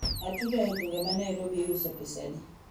atudo e gweng ma Nairobi iuso pesadi?